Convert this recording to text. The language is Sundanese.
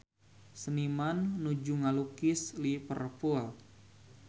Seniman nuju ngalukis Liverpool